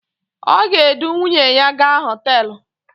O ga-edu nwuyne ya gaa hotelu